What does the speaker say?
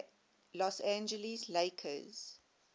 los angeles lakers